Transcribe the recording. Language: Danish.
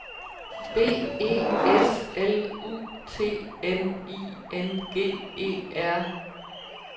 B E S L U T N I N G E R